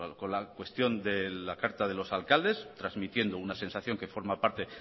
con la cuestión de la carta de los alcaldes trasmitiendo una sensación que forma parte